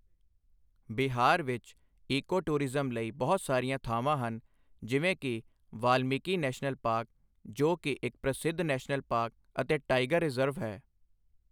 ਬਿਹਾਰ ਵਿੱਚ eco tourism ਲਈ ਬਹੁਤ ਸਾਰੀਆਂ ਥਾਵਾਂ ਹਨ, ਜਿਵੇਂ ਕਿ ਵਾਲਮੀਕਿ ਨੈਸ਼ਨਲ ਪਾਰਕ ਜੋ ਕਿ ਇੱਕ ਪ੍ਰਸਿੱਧ ਨੈਸ਼ਨਲ ਪਾਰ੍ਕ ਅਤੇ ਟਾਈਗਰ ਰਿਜ਼ਰਵ ਹੈ।